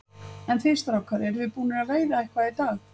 En þið strákar, eruð þið búnir að veiða eitthvað í dag?